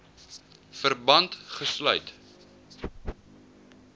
verband gesluit